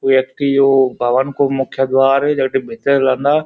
यखी यो भवन कु मुख्य द्वार येके भितर रेंदा।